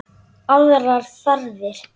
Aðrar þarfir.